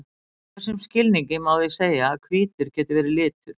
í þessum skilningi má því segja að hvítur geti verið litur